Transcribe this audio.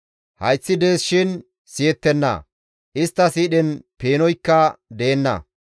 Hayththi dees shin siyettenna; istta siidhen peenoykka deenna.